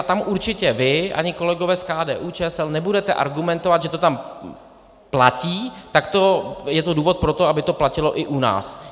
A tam určitě vy ani kolegové z KDU-ČSL nebudete argumentovat, že to tam platí, tak je to důvod pro to, aby to platilo i u nás.